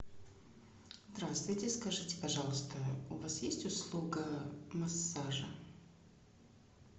здравствуйте скажите пожалуйста у вас есть услуга массажа